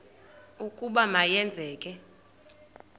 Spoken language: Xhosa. ukuba ma yenzeke